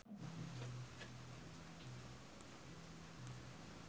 Epy Kusnandar olohok ningali Lindsay Ducan keur diwawancara